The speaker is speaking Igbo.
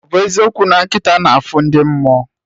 Ọbụ eziokwu na nkịta na afụ ndị mmụọ?